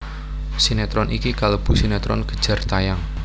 Sinetron iki kalebu sinetron kejar tayang